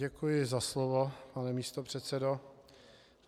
Děkuji za slovo, pane místopředsedo.